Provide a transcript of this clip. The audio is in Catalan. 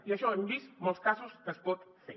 i això hem vist molts casos que es pot fer